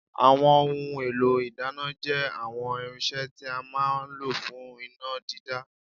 Àwọn ohun èlò ìdáná jẹ́ àwọn irinṣẹ́ tí a máa ń lò fún iná dídá